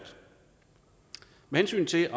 med hensyn